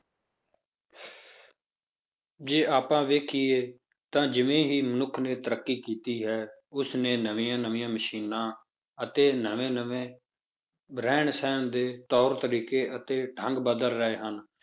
ਜੇ ਆਪਾਂ ਵੇਖੀਏ ਤਾਂ ਜਿਵੇਂ ਹੀ ਮਨੁੱਖ ਨੇ ਤਰੱਕੀ ਕੀਤੀ ਹੈ, ਉਸਨੇ ਨਵੀਂਆਂ ਨਵੀਂਆਂ ਮਸ਼ੀਨਾਂ ਅਤੇ ਨਵੇਂ ਨਵੇਂ ਰਹਿਣ ਸਹਿਣ ਦੇ ਤੌਰ ਤਰੀਕੇ ਅਤੇ ਢੰਗ ਬਦਲ ਰਹੇ ਹਨ,